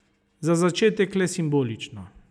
Za začetek le simbolično.